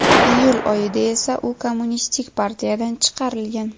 Iyul oyida esa u Kommunistik partiyadan chiqarilgan.